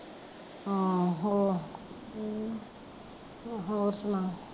ਆਹੋ ਹਮ ਹੋਰ ਸੁਨਾ